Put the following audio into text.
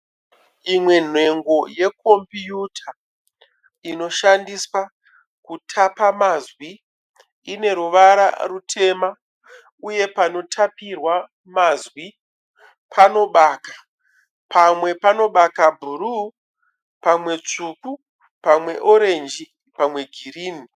Imwe nhengo yeComputer inoshandiswa kutapa mazwi ine ruvara rutema, uye panotapirwa mazwi panobaka , pamwe panobaka buruu, pamwe tsvuku, pamwe orange, pamwe girini .